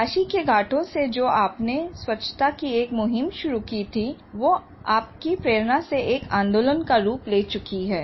काशी के घाटों से जो आपने स्वच्छता की एक मुहिम शुरू की थी वो आपकी प्रेरणा से एक आंदोलन का रूप ले चुकी है